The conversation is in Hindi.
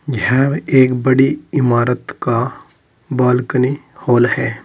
यह एक बड़ी इमारत का बालकनी हॉल है।